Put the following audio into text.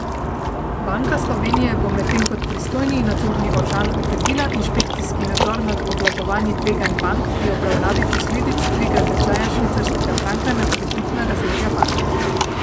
Banka Slovenije bo medtem kot pristojni nadzorni organ okrepila inšpekcijski nadzor nad obvladovanji tveganj bank pri obravnavanju posledic dviga tečaja švicarskega franka na kreditna razmerja bank.